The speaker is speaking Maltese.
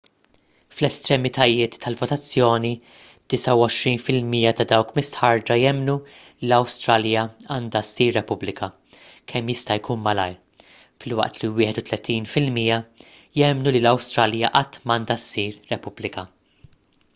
fl-estremitajiet tal-votazzjoni 29 fil-mija ta' dawk mistħarrġa jemmnu li l-awstralja għandha ssir repubblika kemm jista' jkun malajr filwaqt li 31 fil-mija jemmnu li l-awstralja qatt m'għandha ssir repubblika